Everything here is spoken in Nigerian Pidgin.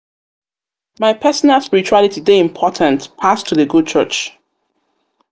personal spirituality dey important pass to dey go church.